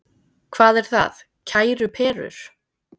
Hvað er það, kæru perur?